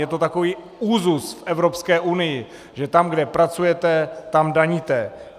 Je to takový úzus v Evropské unii, že tam, kde pracujete, tam daníte.